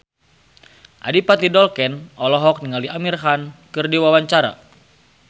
Adipati Dolken olohok ningali Amir Khan keur diwawancara